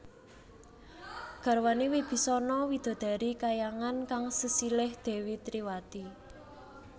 Garwané Wibisana widodari kahyangan kang sesilih Dèwi Triwati